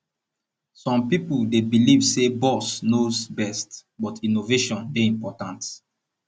some pipo dey believe say boss knows best but innovation dey important